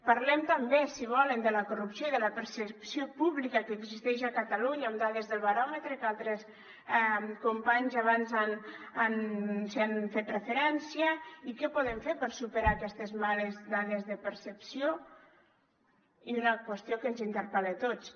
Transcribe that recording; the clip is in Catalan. parlem també si volen de la corrupció i de la percepció pública que existeix a catalunya amb dades del baròmetre que altres companys abans hi han fet referència i què podem fer per superar aquestes males dades de percepció i d’una qüestió que ens interpel·la a tots